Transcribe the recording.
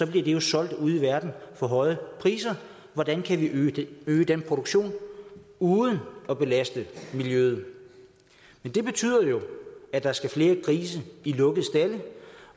bliver det jo solgt ude i verden for høje priser hvordan kan vi øge øge den produktion uden at belaste miljøet men det betyder jo at der skal flere grise i lukkede stalde